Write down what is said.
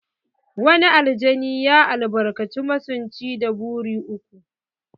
Wani aljani ya albarkaci masunci da buri uku.